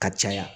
Ka caya